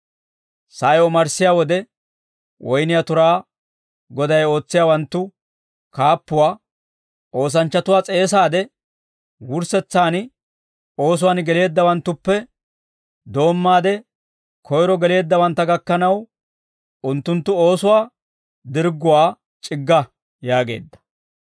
«Sa'ay omarssiyaa wode, woyniyaa turaa goday ootsiyaawanttu kaappuwaa, ‹Oosanchchatuwaa s'eesaade, wurssetsaan oosuwaan geleeddawanttuppe doommaade koyro geleeddawantta gakkanaw, unttunttu oosuwaa dirgguwaa c'igga› yaageedda.